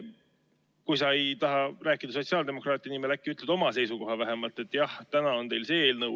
Kui sa ei taha rääkida sotsiaaldemokraatide nimel, siis äkki ütled vähemalt oma seisukoha?